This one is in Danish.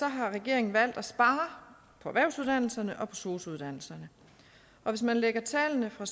har regeringen valgt at spare på erhvervsuddannelserne og på sosu uddannelserne og hvis man lægger tallene fra